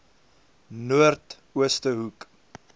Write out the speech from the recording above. noord ooste hoek